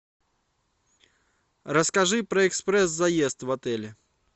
расскажи про экспресс заезд в отеле